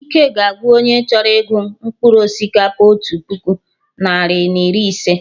Ike ga agwụ onye chọrọ ịgụ mkpụrụ osikapa otu puku, narị na iri ise